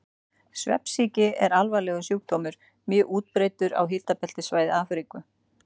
Svefnsýki er alvarlegur sjúkdómur, mjög útbreiddur á hitabeltissvæði Afríku.